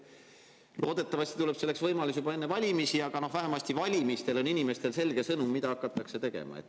Loodetavasti tuleb selleks võimalus juba enne valimisi, aga vähemasti enne valimisi on inimestele selge sõnum, mida hakatakse tegema.